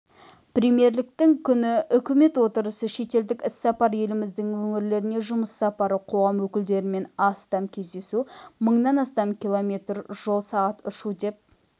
премьерліктің күні үкімет отырысы шетелдік іссапар еліміздің өңірлеріне жұмыс сапары қоғам өкілдерімен астам кездесу мыңнан астам км жол сағат ұшу деп